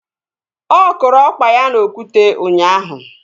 Ọ kụrụ ọkpa ya n'okwute ụnyaahụ